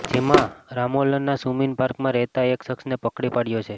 જેમાં રામોલના સુમિન પાર્કમાં રહેતા એક શખ્સને પકડી પાડયો છે